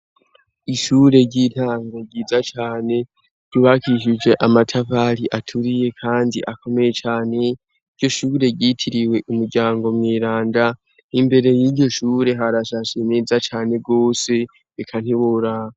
Ishure ry'intango ryiza cane , ryrubakishuje amatafari aturiye kandi akomeye cane, iryo shure ryitiriwe Umuryango Mweranda, imbere y'iryo shure harashashe neza cane gose, eka ntiworaba.